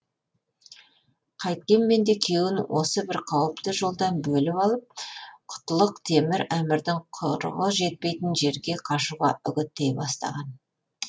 қайткенменде күйеуін осы бір қауіпті жолдан бөліп алып құтлық темір әмірдің құрығы жетпейтін жерге қашуға үгіттей бастаған